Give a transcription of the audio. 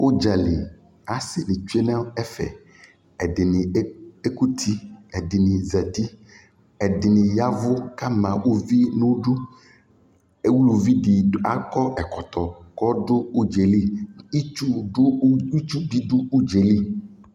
ʋdzali, asii di twɛnʋ ɛƒɛ kʋ ɛkuti ,ɛdini zati, ɛdini yavʋ kʋ ama ʋvi nʋ ʋdʋ, ʋlʋvi di akɔ ɛkɔtɔ kʋɔdʋ ʋdzali, itsʋ bi dʋ ʋdzali